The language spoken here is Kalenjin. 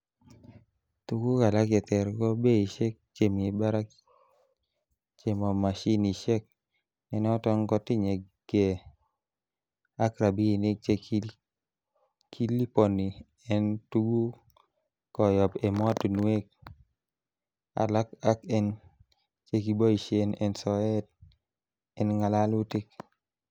Tuguk alak chetere ko beishek chemi barak chemo mashinishek, nenoton kotinye gee ak rabinik che kiliponi en tuguk koyob emotinwek alak ak en chekiboishen en soet en ngalalitik.